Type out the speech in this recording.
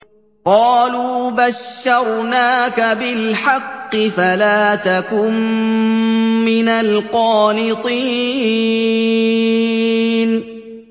قَالُوا بَشَّرْنَاكَ بِالْحَقِّ فَلَا تَكُن مِّنَ الْقَانِطِينَ